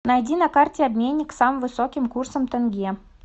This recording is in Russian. найди на карте обменник с самым высоким курсом тенге